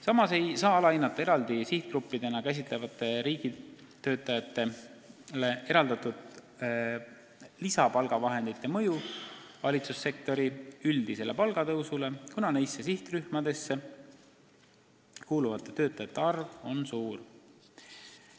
Samas ei saa alahinnata eraldi sihtgruppidena käsitatavatele riigitöötajatele eraldatud lisapalgavahendite mõju valitsussektori üldisele palgatõusule, kuna nendesse sihtrühmadesse kuuluvate töötajate arv on suur.